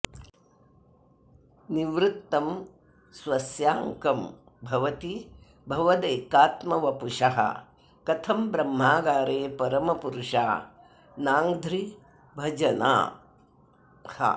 निवृत्तं स्वस्याङ्कं भवति भवदेकात्मवपुषः कथं ब्रह्मागारे परमपुरुषा नाङ्घ्रिभजनाः